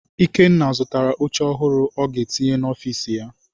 Ikenna zụtara oche ọhụrụ ọ ga-etinye n'ọfiisi ya.